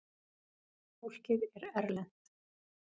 Fólkið er erlent.